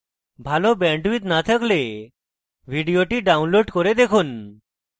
ভাল bandwidth না থাকলে ভিডিওটি download করে দেখুন